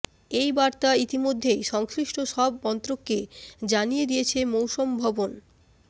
এই বার্তা ইতিমধ্যেই সংশ্লিষ্ট সব মন্ত্রককে জানিয়ে দিয়েছে মৌসম ভবন